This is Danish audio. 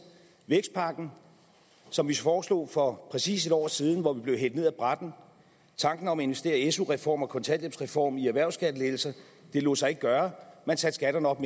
vækstpakken som vi foreslog for præcis en år siden hvor den blev hældt ned af brættet tanken om at investere i en su reform og en kontanthjælpsreform via erhvervsskattelettelser lod sig ikke gøre man satte skatterne op